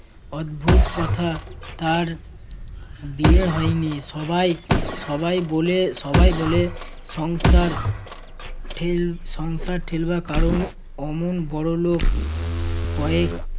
অদ্ভুত কথা, তার বিয়ে হয়নি। সবাই~ সবাই বলে~ সবাই বলে সংসার ঠেল~ সংসার ঠেলবার কারণ অমন বড়লোক কয়েক